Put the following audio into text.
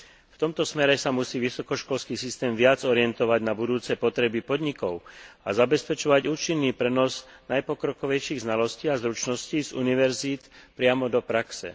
V tomto smere sa musí vysokoškolský systém viac orientovať na budúce potreby podnikov a zabezpečovať účinný prenos najpokrokovejších znalostí a zručností z univerzít priamo do praxe.